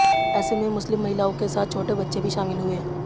ऐसे में मुस्लिम महिलाओं के साथ छोटे बच्चे भी शामिल हुए